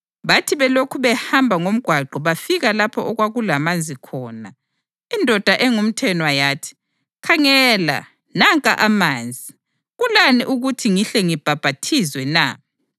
Bathi belokhu behamba ngomgwaqo bafika lapho okwakulamanzi khona, indoda engumthenwa yathi, “Khangela, nanka amanzi. Kulani ukuthi ngihle ngibhaphathizwe na?” [